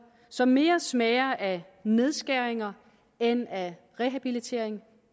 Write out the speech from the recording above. som mere smager af nedskæringer end af rehabilitering